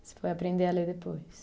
Você foi aprender a ler depois?